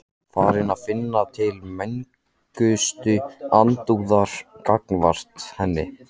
Farinn að finna til megnustu andúðar gagnvart henni.